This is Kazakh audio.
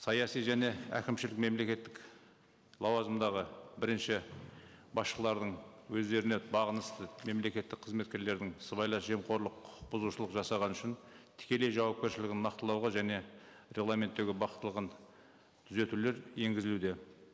саяси және әкімшілік мемлекеттік лауазымдағы бірінші басшыларының өздеріне бағынысты мемлекеттік қызметкерлердің сыбайлас жемқорлық құқық бұзушылық жасаған үшін тікелей жауапкершілігін нақтылауға және регламенттегі түзетулер енгізілуде